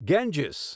Ganges